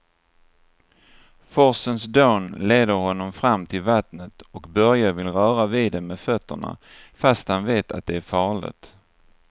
Forsens dån leder honom fram till vattnet och Börje vill röra vid det med fötterna, fast han vet att det är farligt.